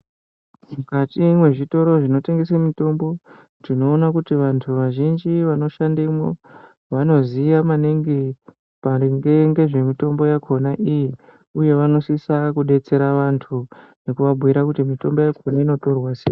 Mukati mwezvitoro zvinotengeswe mitombo, tinoona kuti vantu vazhinji vanoshandemwo ,vanoziya maningi maringe ngezvemitombo yakhona iyi, uye vanosisa kudetsera vantu, nekuvabhuira kuti mitombo yakhona inotorwa sei.